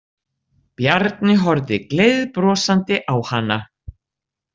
Bjarni horfði gleiðbrosandi á hana.